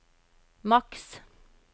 maks